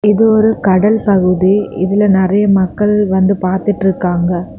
இது ஒரு கடல் பகுதி. இதுல நெறைய மக்கள் வந்து பாத்துட்ருக்காங்க.